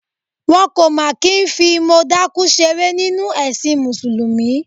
Wọn kò máa kí ń fi mọ dákú ṣeré nínú ẹ̀sìn Mùsùlùmí.